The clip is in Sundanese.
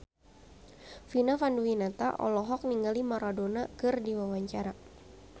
Vina Panduwinata olohok ningali Maradona keur diwawancara